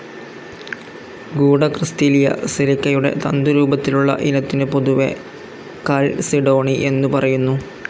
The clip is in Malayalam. ഗൂഢക്രിസ്റ്റലീയ സിലികയുടെ തന്തുരൂപത്തിലുള്ള ഇനത്തിനു പൊതുവേ കാൽസിഡോണി എന്നു പറയുന്നു.